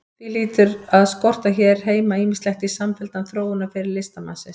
Því hlýtur að skorta hér heima ýmislegt í samfelldan þróunarferil listamannsins.